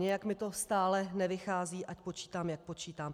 Nějak mi to stále nevychází, ať počítám, jak počítám.